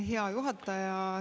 Hea juhataja!